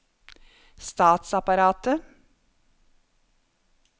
statsapparatet